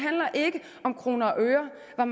er